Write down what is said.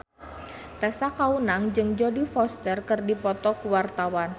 Tessa Kaunang jeung Jodie Foster keur dipoto ku wartawan